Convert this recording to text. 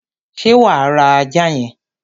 ṣé wà á ra ajá yẹn?